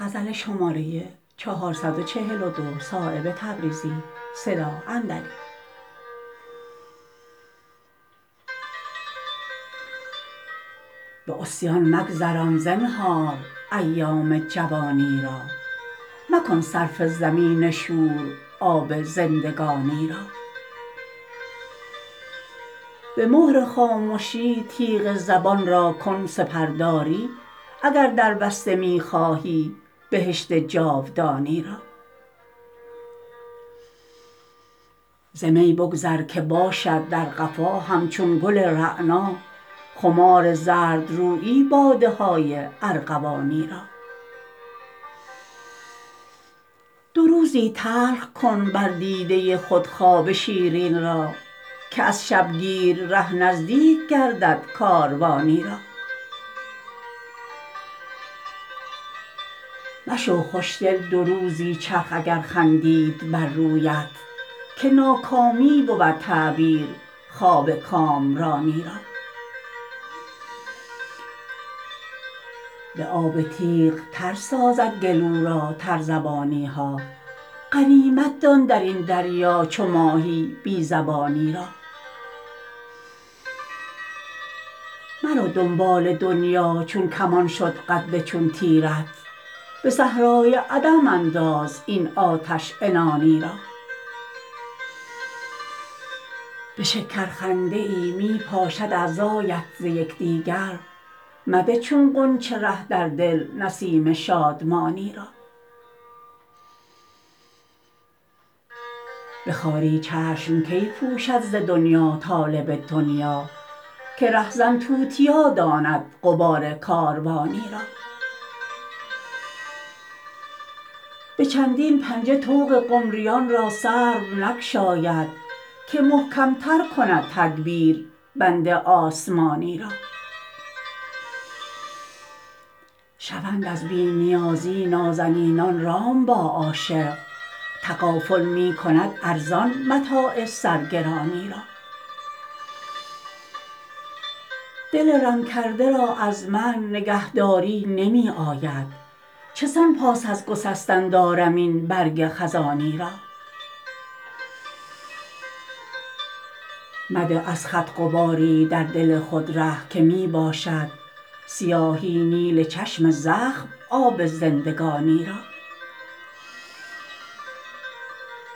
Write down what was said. به عصیان مگذران زنهار ایام جوانی را مکن صرف زمین شور آب زندگانی را به مهر خامشی تیغ زبان را کن سپرداری اگر دربسته می خواهی بهشت جاودانی را ز می بگذر که باشد در قفا همچون گل رعنا خمار زردرویی باده های ارغوانی را دو روزی تلخ کن بر دیده خود خواب شیرین را که از شبگیر ره نزدیک گردد کاروانی را مشو خوشدل دو روزی چرخ اگر خندید بر رویت که ناکامی بود تعبیر خواب کامرانی را به آب تیغ تر سازد گلو را تر زبانی ها غنیمت دان درین دریا چو ماهی بی زبانی را مرو دنبال دنیا چون کمان شد قد چون تیرت به صحرای عدم انداز این آتش عنانی را به شکر خنده ای می پاشد اعضایت ز یکدیگر مده چون غنچه ره در دل نسیم شادمانی را به خواری چشم کی پوشد ز دنیا طالب دنیا که رهزن توتیا داند غبار کاروانی را به چندین پنجه طوق قمریان را سرو نگشاید که محکم تر کند تدبیر بند آسمانی را شوند از بی نیازی نازنینان رام با عاشق تغافل می کند ارزان متاع سرگرانی را دل رم کرده را از من نگهداری نمی آید چسان پاس از گسستن دارم این برگ خزانی را مده از خط غباری در دل خود ره که می باشد سیاهی نیل چشم زخم آب زندگانی را